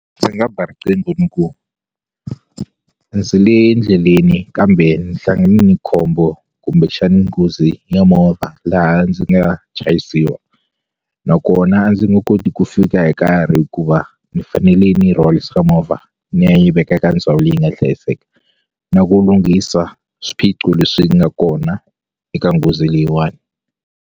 Ndzi nga ba riqingho ni ku ndzi le ndleleni kambe ni hlangane na khombo kumbexani nghozi ya movha laha ndzi nga chayisiwa nakona ndzi nge koti ku fika hi nkarhi hikuva ni fanele ni yi rhwalisa ka movha ni ya yi veka eka ndhawu leyi nga hlayiseka na ku lunghisa swiphiqo leswi nga kona eka nghozi leyiwani.